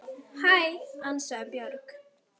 Hæ, ansaði Björg.